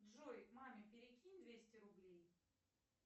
джой маме перекинь двести рублей